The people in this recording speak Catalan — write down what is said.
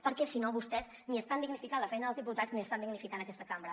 perquè si no vostès ni estan dignificant la feina dels diputats ni estan dignificant la feina d’aquesta cambra